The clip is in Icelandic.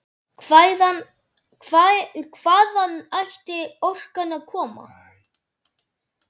Hvaðan ætti orkan að koma?